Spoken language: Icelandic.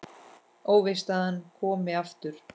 Óvíst að hann komi aftur.